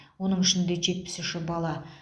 оның ішінде жетпіс үші бала